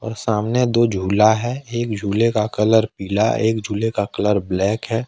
और सामने दो झूला है एक झूले का कलर पीला एक झूले का कलर ब्लैक है।